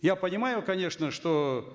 я понимаю конечно что